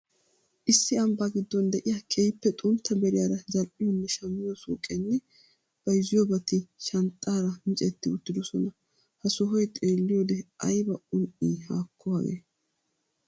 Issi ambbaa gidon de'iya keehiippe xuntta Vieira zal'iyonne shammiyo suuqeenne bayzziyobati shanxxaara miccetti uttidosona. Ha sohoy xeelliyode aybba un'ii haakko hagee!